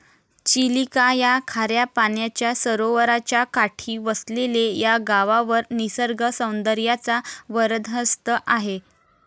चिलिका या खाऱ्या पाण्याच्या सरोवराच्या काठी वसलेले या गावावर निसर्गसौदर्याचा वरदहस्त आहे.